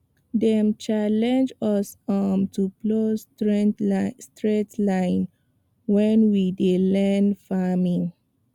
dem challenge us um to plow straight line when we dey learn farming